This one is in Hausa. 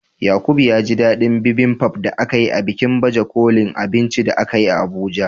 Yaqub ya ji dadin Bibimbap da aka yi a bikin baje kolin abinci da akayi a Abuja.